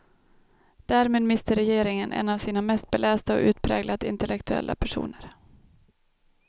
Därmed mister regeringen en av sina mest belästa och utpräglat intellektuella personer.